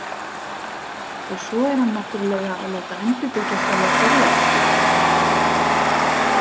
Og svo er hann náttúrlega að láta endurbyggja sjálfa Þorláksbúð